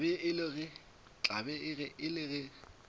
tla be e le ge